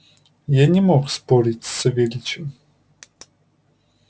я не мог спорить с савельичем